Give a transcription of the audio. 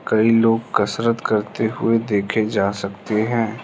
कई लोग कसरत करते हुए देखे जा सकते हैं।